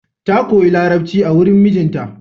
Ta koyi Larabci a wurin mijinta.